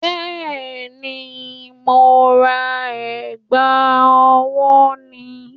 Bẹ́ẹ̀ni, mo ra ẹ̀gbà ọwọ́ ni